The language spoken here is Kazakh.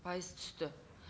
пайыз түсті